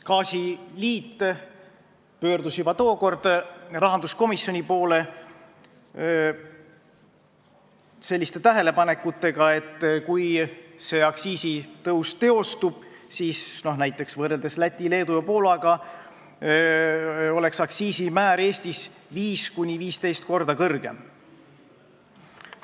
" Gaasiliit pöördus juba tookord rahanduskomisjoni poole tähelepanekutega, et kui see aktsiisitõus teostub, siis näiteks võrreldes Läti, Leedu ja Poolaga oleks aktsiisimäär Eestis 5–15 korda kõrgem.